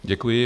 Děkuji.